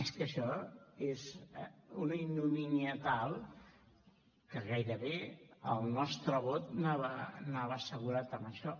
és que això és una ignomínia tal que gairebé el nostre vot anava assegurat a això